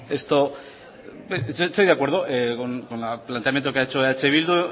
estoy de acuerdo con el planteamiento que ha hecho eh bildu